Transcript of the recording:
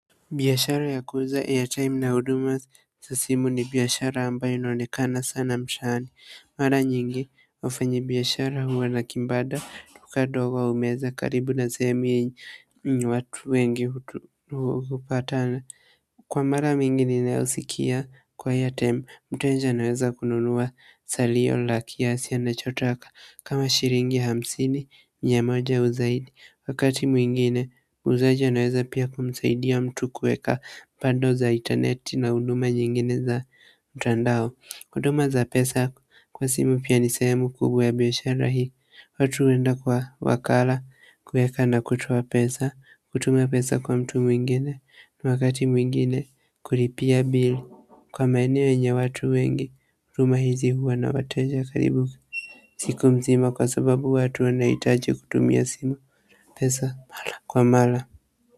Biyashara ya kuuza air time na huduma za simu ni biashara ambayo inaonekana sana mshani mara nyingi wafanyi biashara huwa na kibanda duka ndogo au meza karibu na sehemu watu wengi hupatana kwa mara mingi ninayosikia kwa airtime, mteja anaweza kununua salio la kiasi anacho taka kama shilingi hamsini, mia moja au zaidi wakati mwingine muuzaji anaweza pia kumsaidia mtu kuweka bundle za interneti na huduma nyingine za mtandao huduma za pesa kwa simu pia ni sehemu kubwa ya biashara hii watu huenda kwa wakala kueka na kutoa pesa, kutuma pesa kwa mtu mwingine na wakati mwingine kulipia bill kwa maeneo yenye watu wengi, huduma hizi huwa na wateja karibu siku mzima kwa sababu watu wanahitaji kutumia pesa mara kwa mara.